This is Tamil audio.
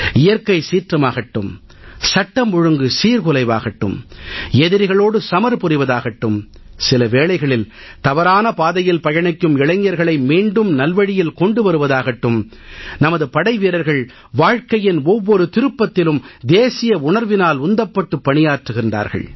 இயற்கைச் சீற்றமாகட்டும் சட்டம் ஒழுங்கு சீர்குலைவாகட்டும் எதிரிகளோடு சமர் புரிவதாகட்டும் சில வேளைகளில் தவறான பாதையில் பயணிக்கும் இளைஞர்களை மீண்டும் நல்வழியில் கொண்டு வருவதாகட்டும் நமது படைவீரர்கள் வாழ்க்கையின் ஒவ்வொரு திருப்பதிலும் தேசிய உணர்வினால் உந்தப்பட்டு பணியாற்றுகிறார்கள்